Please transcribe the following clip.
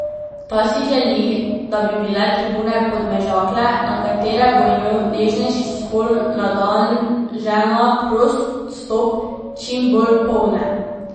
Ta si želi, da bi bile tribune Podmežakle, na katere bo imel nežnejši spol na dan žena prost vstop, čim bolj polne.